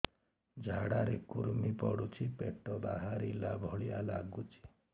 ଝାଡା ରେ କୁର୍ମି ପଡୁଛି ପେଟ ବାହାରିଲା ଭଳିଆ ଲାଗୁଚି